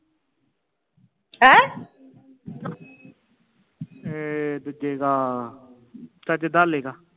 ਇਹ ਏ ਦੂਜੇ ਕਾ ਚਾਚੇ ਦਾਲੇ ਕਾ